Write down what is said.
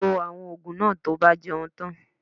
Lo àwọn ògùn náà to bá ti jẹun tan